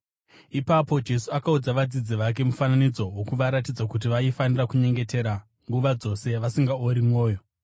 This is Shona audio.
Ipapo Jesu akaudza vadzidzi vake mufananidzo wokuvaratidza kuti vaifanira kunyengetera nguva dzose vasingaori mwoyo.